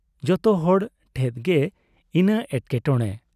ᱡᱚᱛᱚᱦᱚᱲ ᱴᱷᱮᱫ ᱜᱮ ᱤᱱᱟᱹ ᱮᱴᱠᱮᱴᱚᱬᱮ ᱾